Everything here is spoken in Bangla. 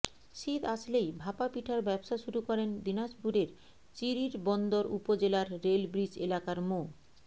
শীত আসলেই ভাপা পিঠার ব্যবসা শুরু করেন দিনাজপুরের চিরিরবন্দর উপজেলার রেল ব্রিজ এলাকার মো